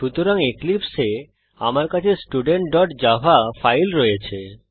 সুতরাং এক্লীপ্সে আমার কাছে studentজাভা ফাইল রয়েছে